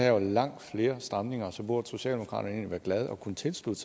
jo langt flere stramninger så burde socialdemokraterne egentlig være glade og kunne tilslutte